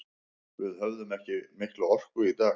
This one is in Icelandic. Við höfðum ekki mikla orku í dag.